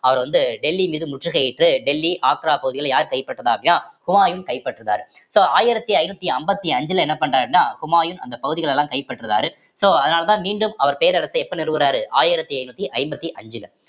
அவரை வந்து டெல்லி மீது முற்றுகையிட்டு டெல்லி ஆக்ரா பகுதியில யார் கைப்பற்றது அப்படின்னா ஹுமாயூன் கைப்பற்றுதாரு so ஆயிரத்தி ஐநூத்தி ஐம்பத்தி அஞ்சுல என்ன பண்றாருன்னா ஹுமாயூன் அந்த பகுதிகளை எல்லாம் கைப்பற்றுறாரு so அதனாலதான் மீண்டும் அவர் செய்த இடத்தை எப்ப நிறுவறாரு ஆயிரத்தி ஐந்நூத்தி ஐம்பத்தி அஞ்சுல